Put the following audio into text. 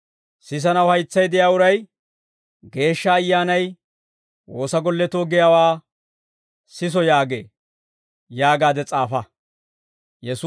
Sisanaw haytsay de'iyaa uray Geeshsha Ayyaanay woosa golletoo giyaawaa siso yaagee» yaagaade s'aafa.